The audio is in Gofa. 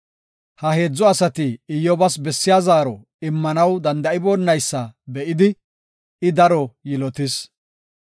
Ha heedzu asati Iyyobas bessiya zaaro immanaw danda7iboonaysa be7idi I daro yilotis.